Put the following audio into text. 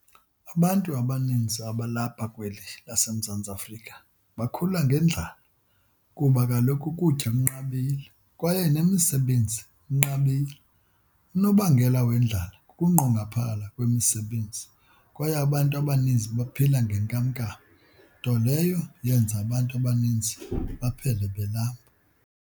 Abantu abaninzi abalapha kweli lase Mzantsi Afrika bakhula ngendlala kuba kaloku ukutya kunqabile, kwaye nemisebenzi inqabile. Unobangela wendlala kukunqongophala kwemi sebenzi kwaye abantu abaninzi baphila nge nkam-nkam nto leyo yenza abantu abaninzi baphele belamba.